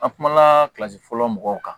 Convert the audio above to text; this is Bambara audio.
An kumana fɔlɔ mɔgɔw kan